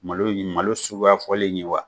Malo in ye malo suguya fɔlen in ye wa?